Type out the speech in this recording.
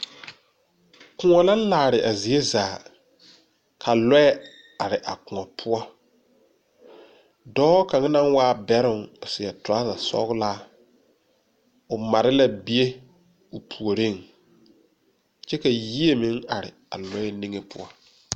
Koɔ la laare a zie zaa. Ka lɔe are a koɔ poʊ. Doɔ kang na waa bɛroŋ seɛ turasa sɔglaa o mare la bie o pooreŋ. Kye ka yieɛ meŋ are a lɔe niŋe poʊ